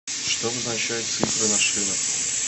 что обозначают цифры на шинах